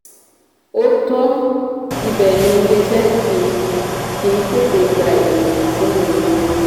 òótọ́ ibẹ̀ ni iléeṣẹ́ kì kì í tètè gba ènìyàn sínú ìgbìmọ̀ wọn.